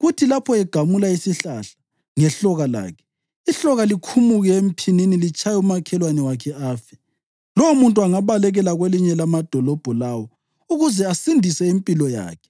kuthi lapho egamula isihlahla ngehloka lakhe, ihloka likhumuke emphinini litshaye umakhelwane wakhe afe. Lowomuntu angabalekela kwelinye lamadolobho lawo ukuze asindise impilo yakhe.